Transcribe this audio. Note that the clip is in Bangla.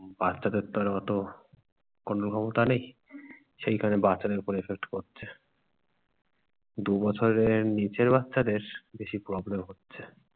বাচ্চাদের তো আর অত control ক্ষমতা নেই, সেই কারণে বাচ্চাদের উপর effect করছে। দু বছরের নিচের বাচ্চাদের বেশি problem হচ্ছে।